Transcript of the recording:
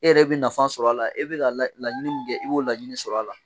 E yɛrɛ bɛ nafa sɔrɔ a la, e bɛ ka laɲini min kɛ i b'o laɲini sɔrɔ a la.